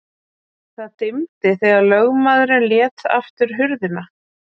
Það dimmdi þegar lögmaðurinn lét aftur hurðina.